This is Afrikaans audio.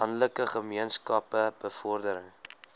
landelike gemeenskappe bevordering